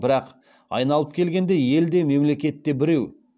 бірақ айналып келгенде ел де мемлекет те біреу